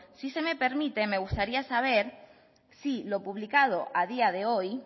si se me permite me gustaría saber si lo publicado a día de hoy